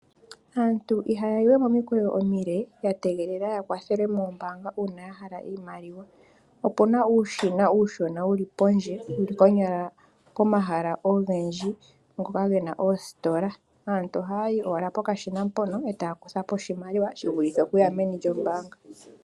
Aantu ihaya yiwe momikweyo omile ya tegelela ya kwathelwe moombaanga uuna ya hala iimaliwa. Opuna uushina uushona wuli pondje konyala komahala ogendji ngoka gena oositola. Aantu ohaya yo owala pokashina mpono eta ya kutha po oshimaliwa shi vulithe okuya meni lyombaanga.